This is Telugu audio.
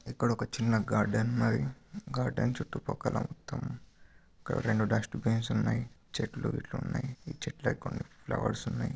ఇక్కడ ఒక చిన్న గార్డెన్ మరియు గార్డెన్ చుట్టు పక్కల మొత్తం రెండు డస్ట్బిన్స్ ఉన్నాయి. చెట్లు గిట్ల వున్నాయి చెట్లు ఎక్కువ వున్నాయి ఫ్లవర్స్ వున్నాయి.